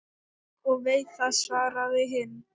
Ég veit það, svaraði hinn.